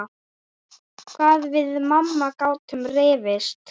Hvað við mamma gátum rifist.